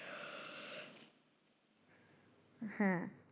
হ্যাঁ